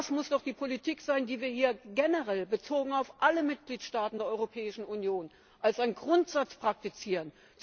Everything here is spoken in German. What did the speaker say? Das muss doch die Politik sein, die wir hier generell, bezogen auf alle Mitgliedstaaten der Europäischen Union, als einen Grundsatz praktizieren.